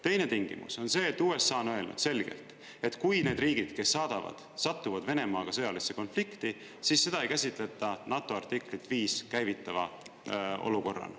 Teine tingimus on see, et USA on öelnud selgelt, et kui need riigid, kes saadavad, satuvad Venemaaga sõjalisse konflikti, siis seda ei käsitleta NATO artiklit 5 käivitava olukorrana.